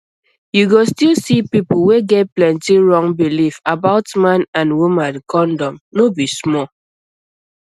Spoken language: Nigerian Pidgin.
you go still see people wey get plenty wrong belief about man and woman condom no be small